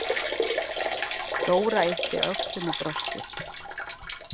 Dóra yppti öxlum og brosti.